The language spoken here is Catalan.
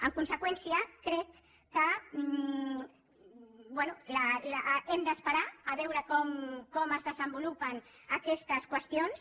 en conseqüència crec que bé hem d’esperar a veure com es desenvolupen aquestes qüestions